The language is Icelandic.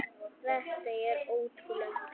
Þetta er ótrúleg tala.